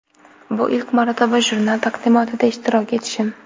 Bu ilk marotaba jurnal taqdimotida ishtirok etishim.